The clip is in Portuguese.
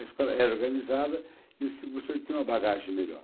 A escola era organizada e os professores tinham uma bagagem melhor.